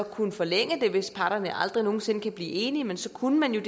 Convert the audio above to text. kunne forlænge det hvis parterne aldrig nogen sinde kan blive enige men så kunne man jo